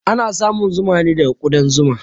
Ana samun zuma ne daga ƙudan zuma